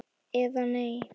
eða Nei!